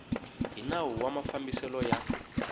hi nawu wa mafambiselo ya